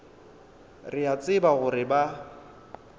re a tseba gore ba